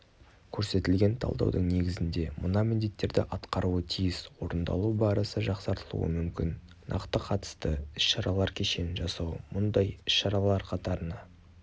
көрсетілген талдаудың негізінде мына міндеттерді атқаруы тиіс орындалу барысы жақсартылуы мүмкін нақты қатысты іс-шаралар кешенін жасау мұндай іс-шаралар қатарына